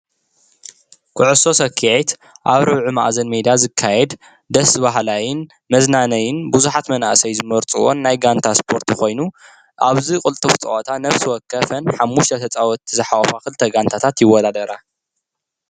ኩዕሶ ስኪዔት ኣብ ርብዒ መኣዘን ሜዳ ዝካየድ ደስ በሃላይን መዝናነዪን ብዙሓት መናእሰይ ዝመርፅዎን ናይ ጋንታ ስፖርቲ ኮይኑ ኣብዚ ቅልጡፍ ፀወታ ነብሲ ወከፍን ሓሙሽተ ተፃወቲ ዝሓቁፋ ክልተ ጋንታታት ይወዳዳራ ።